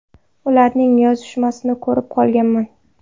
Ularning yozishmasini ko‘rib qolganman.